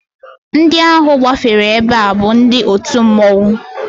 Ndị ahụ gbafere ebe a bụ ndị otu mmọnwụ